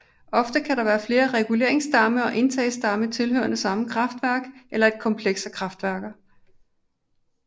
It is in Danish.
Ofte kan der være flere reguleringsdamme og indtagsdamme tilhørende samme kraftværk eller et kompleks af kraftværker